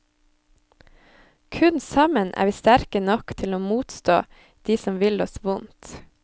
Kun sammen er vi sterke nok til å motstå de som vil oss vondt.